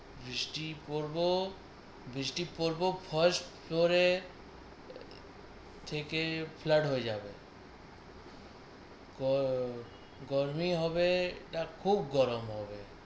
বৃষ্টি পড়ব বৃষ্টি পড়ব ফল স্টোরে থেকে ফ্লাট হয়ে যাবে তো গরমই হবে না খুব গরম হবে।